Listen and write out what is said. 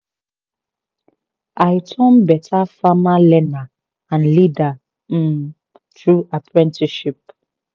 i turn better farmer learner and leader um through apprenticeship